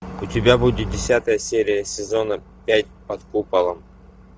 у тебя будет десятая серия сезона пять под куполом